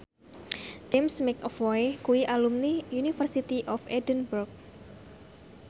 James McAvoy kuwi alumni University of Edinburgh